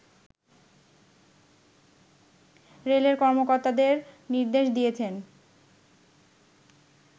রেলের কর্মকর্তাদের নির্দেশ দিয়েছেন